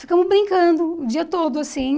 Ficamos brincando o dia todo, assim.